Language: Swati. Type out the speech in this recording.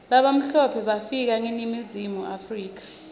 labamhlope bafika mga eningizimu africa